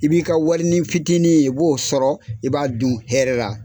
I b'i ka warini fitinin i b'o sɔrɔ, i b'a dun hɛrɛ la